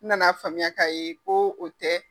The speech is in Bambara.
N nana faamuya ka ye ko o tɛ.